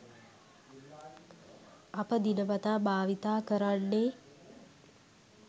අප දිනපතා භාවිතා කරන්නේ